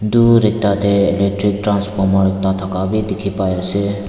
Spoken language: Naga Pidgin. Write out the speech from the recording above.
tur dae ekta dae transformer ekta taka bi tiki ase.